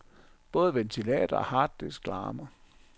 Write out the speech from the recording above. Både ventilator og harddisk larmer.